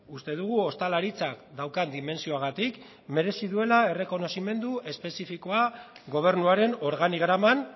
uste dugu ostalaritzak daukan dimentsioagatik merezi duela errekonozimendu espezifikoa gobernuaren organigraman